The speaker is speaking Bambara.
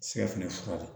Siga fɛnɛ fura ye